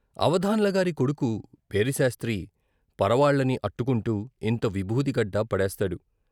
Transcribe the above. అవధాన్ల గారి కొడుకు పేరిశాస్రి పర వాళ్ళని అట్టుకుంటూ ఇంత విబూచిగడ్డ పడేస్తాడు.